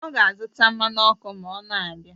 Ọ ga-azụta mmanụ ọkụ ma ọ na-abịa